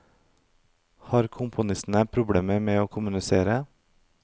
Har komponistene problemer med å kommunisere?